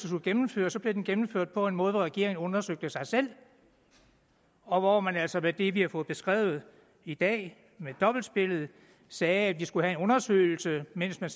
skulle gennemføres blev den gennemført på en måde hvor regeringen undersøgte sig selv og hvor man altså med det vi har fået beskrevet i dag med dobbeltspillet sagde at vi skulle have en undersøgelse mens man